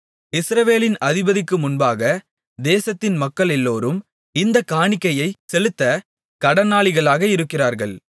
இஸ்ரவேலின் அதிபதிக்கு முன்பாக தேசத்தின் மக்களெல்லோரும் இந்தக் காணிக்கையைச் செலுத்தக் கடனாளிகளாக இருக்கிறார்கள்